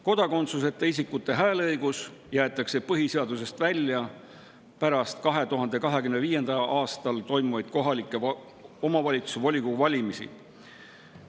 Kodakondsuseta isikute hääleõigus jäetakse põhiseadusest välja pärast 2025. aastal toimuvaid kohaliku omavalitsuse volikogu valimisi.